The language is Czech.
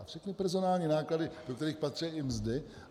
A všechny personální náklady, do kterých patří i mzdy.